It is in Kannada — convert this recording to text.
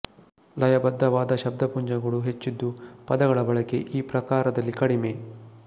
ಲಯಬದ್ಧವಾದ ಶಬ್ದಪುಂಜಗಳು ಹೆಚ್ಚಿದ್ದು ಪದಗಳ ಬಳಕೆ ಈ ಪ್ರಕಾರದಲ್ಲಿ ಕಡಿಮೆ